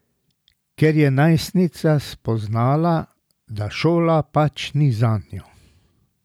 Ker je najstnica spoznala, da šola pač ni zanjo.